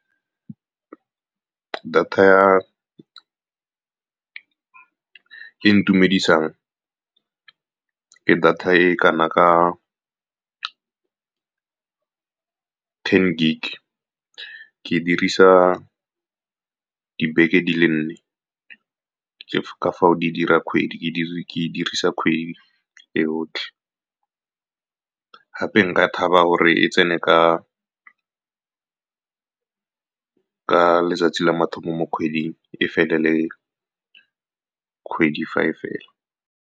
Data e itumedisang ke data e kana ka ten gig. Ke e dirisa dibeke di le nne, ke ka fao di dirang kgwedi. Ke e dirisa kgwedi yotlhe, gape nka thaba gore e tsene ka letsatsi la mathomo mo kgweding, e fele le kgwedi fa e fela.